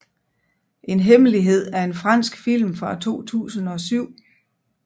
En hemmelighed er en fransk film fra 2007